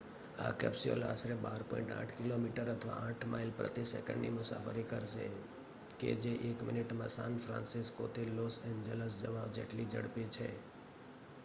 આ કેપ્સ્યુલ આશરે 12.8 કી.મી અથવા 8 માઇલ પ્રતિ સેકંડની મુસાફરી કરશે કે જે એક મિનિટમાં સાન ફ્રાન્સિસ્કોથી લોસ એન્જલસ જવા જેટલી ઝડપી છે